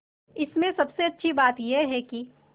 इसमें सबसे अच्छी बात यह है कि